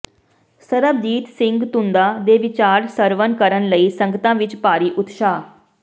ਸਰਬਜੀਤ ਸਿੰਘ ਧੂੰਦਾ ਦੇ ਵਿਚਾਰ ਸ੍ਰਵਣ ਕਰਨ ਲਈ ਸੰਗਤਾਂ ਵਿੱਚ ਭਾਰੀ ਉਤਸ਼ਾਹ